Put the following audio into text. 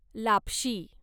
लापशी